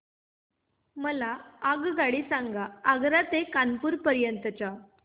मला आगगाडी सांगा आग्रा ते कानपुर पर्यंत च्या